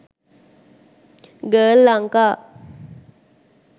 girl lanka